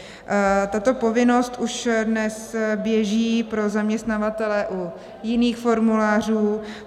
Tato povinnost už dnes běží pro zaměstnavatele u jiných formulářů.